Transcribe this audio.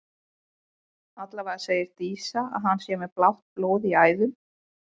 Allavega segir Dísa að hann sé með blátt blóð í æðum.